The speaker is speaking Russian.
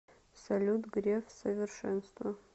салют греф совершенство